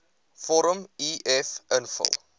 vorm uf invul